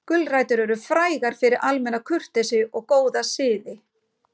Gulrætur eru frægar fyrir almenna kurteisi og góða siði.